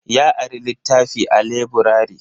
Ya ari littafi a laburare.